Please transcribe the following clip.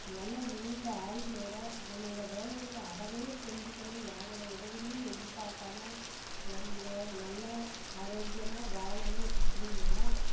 நல்ல நீண்ட ஆயுளோட அவனோட வேலைகளை அவனே செஞ்சுக்கணும் யாரோட உதவிகளும் எதிர்பார்க்காம நம்ம~நல்ல ஆரோக்கியமா வாழனும் அப்படின்னா